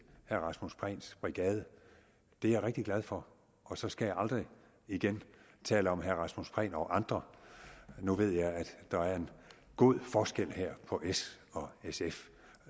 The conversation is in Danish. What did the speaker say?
herre rasmus prehns brigade det er jeg rigtig glad for og så skal jeg aldrig igen tale om herre rasmus prehn og andre nu ved jeg at der er en god forskel her på s og sf